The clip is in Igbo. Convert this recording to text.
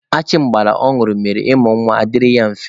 Achịmgbara ọ ñụrụ mere ịmụ nwa dịrị ya mfe.